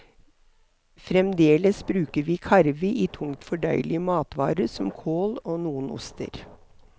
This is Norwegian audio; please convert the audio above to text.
Fremdeles bruker vi karve i tungt fordøyelige matvarer som kål og noen oster.